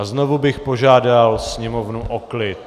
A znovu bych požádal sněmovnu o klid.